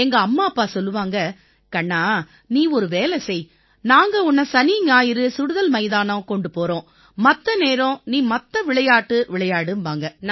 எங்க அம்மா அப்பா சொல்லுவாங்க கண்ணா நீ ஒரு வேலை செய் நாங்க உன்னை சனிஞாயிறு சுடுதல் மைதானம் கொண்டு போறோம் மத்த நேரம் நீ மத்த விளையாட்டு விளையாடும்பாங்க